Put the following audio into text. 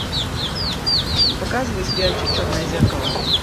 показывай сериальчик черное зеркало